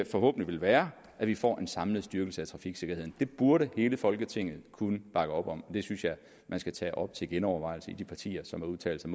forhåbentlig vil være at vi får en samlet styrkelse af trafiksikkerheden det burde hele folketinget kunne bakke op om og det synes jeg man skal tage op til genovervejelse i de partier som har udtalt sig